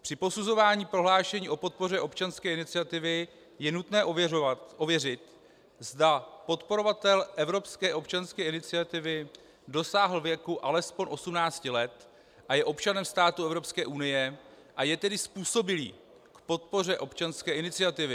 Při posuzování prohlášení o podpoře občanské iniciativy je nutné ověřit, zda podporovatel evropské občanské iniciativy dosáhl věku alespoň 18 let a je občanem státu Evropské unie, a je tedy způsobilý k podpoře občanské iniciativy.